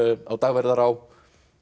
á Dagverðará